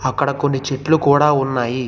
అక్కడ కొన్ని చెట్లు కూడా ఉన్నాయి.